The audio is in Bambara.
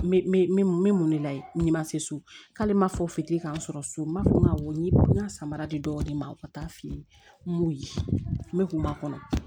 N bɛ mun de la n'i ma se so k'ale ma fɔ fitiri k'an sɔrɔ so m'a fɔ awɔ n y'i ka samara di dɔw de ma u ka taa f'i ye n m'u ye n bɛ kun b'a kɔnɔ